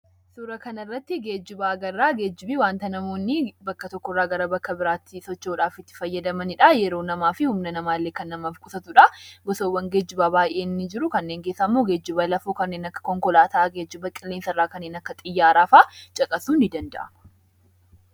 Suuraa kanarratti geejjiba agarra. Geejjibni wanta namoonni bakka tokko irraa gara bakka biraatti socho'u dhaaf itti fayyadamanidha. Yeroo namaa fi humna namaa illee kan namaaf qusatudha. Gosawwan geejibaa baay'een ni jiru, kanneen keessaa immoo geejjiba lafoo kanneen akka konkolaataa, geejjiba qilleensarraa kanneen akka xiyyaaraa fa'a caqasuun ni danda’aama.